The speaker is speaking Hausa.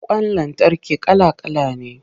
Ƙwan lantarki kala-kala ne.